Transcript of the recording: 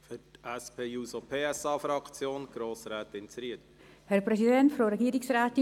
Für die SP-JUSO-PSA-Fraktion hat Grossrätin Zryd das Wort.